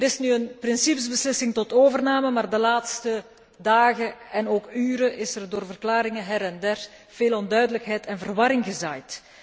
Er is nu een principe beslissing tot overname, maar de laatste dagen en ook uren is er door verklaringen her en der veel onduidelijkheid en verwarring gezaaid.